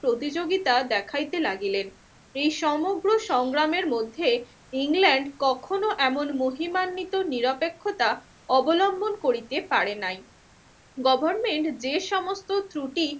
প্রতিযোগিতা দেখাইতে লাগিলেন। এই সমগ্র সংগ্রামের মধ্যে ইংল্যান্ড কখনো এমন মহিমান্বিত নিরপেক্ষতা অবলম্বন করিতে পারে নাই। গভর্নমেন্ট যে সমস্ত ত্রুটি